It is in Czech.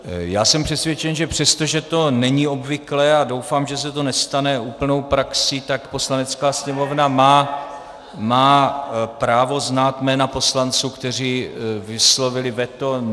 Já jsem přesvědčen, že přesto, že to není obvyklé, a doufám, že se to nestane úplnou praxí, tak Poslanecká sněmovna má právo znát jména poslanců, kteří vyslovili veto.